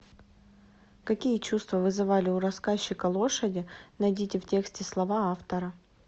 какие чувства вызывали у рассказчика лошади найдите в тексте слова автора